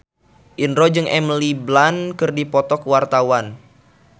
Indro jeung Emily Blunt keur dipoto ku wartawan